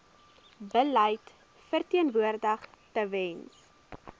beleid verteenwoordig tewens